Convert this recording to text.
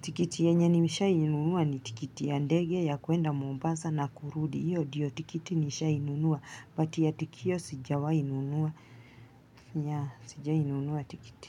Tikiti yenye nimeshawahi nunua ni tikiti ya ndege ya kuenda Mombasa na kurudi. Hiyo ndio tikiti nishawahi nunua but ya tukio sijawahi nunua. Yeah, sijawahi nunua tikiti.